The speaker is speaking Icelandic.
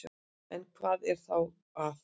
En hvað er þá að?